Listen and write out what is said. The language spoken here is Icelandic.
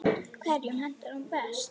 Hverjum hentar hún best?